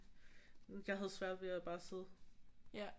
Jeg havde ved at bare sidde